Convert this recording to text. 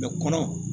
kɔnɔ